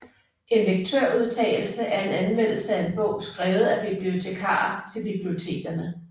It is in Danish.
En lektørudtalelse er en anmeldelse af en bog skrevet af bibliotekarer til bibliotekerne